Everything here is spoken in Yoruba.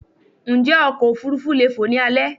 Njé ọkọ̀ òfurufú leè fò ni alé